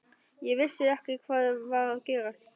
Ég vissi ekki hvað var að gerast.